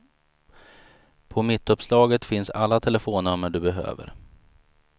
På mittuppslaget finns alla telefonnummer du behöver.